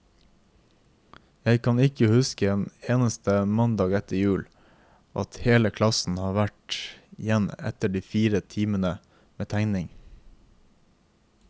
Jeg kan ikke huske en eneste mandag etter jul, at hele klassen har vært igjen etter de fire timene med tegning.